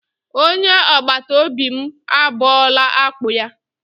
Onye agbatobi m abọọla akpụ ya.